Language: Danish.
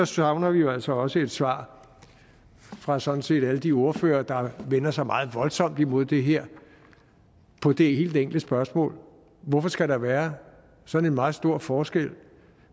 savner vi jo altså også et svar fra sådan set alle de ordførere der vender sig meget voldsomt imod det her på det helt enkle spørgsmål hvorfor skal der være sådan en meget stor forskel